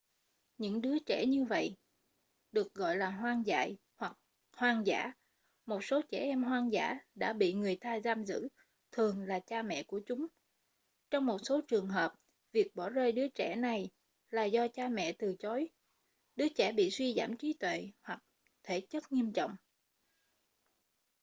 những đứa trẻ như vậy được gọi là hoang dại hoặc hoang dã. một số trẻ em hoang dã đã bị người ta giam giữ thường là cha mẹ của chúng; trong một số trường hợp việc bỏ rơi đứa trẻ này là do cha mẹ từ chối đứa trẻ bị suy giảm trí tuệ hoặc thể chất nghiêm trọng